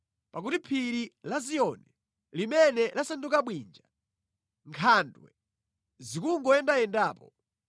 pakuti phiri la Ziyoni, limene lasanduka bwinja, nkhandwe zikungoyendayendapo.